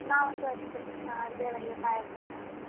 ನಾವ್ಸ ಅಷ್ಟೆ ಅಹ್ ದೇವರಿಗೆ ಪಾಯ್ಸ ಮಾಡಿ.